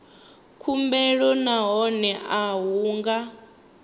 khumbelo nahone a hu nga